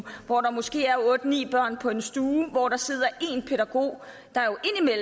hvor der måske er otte ni børn på en stue hvor der sidder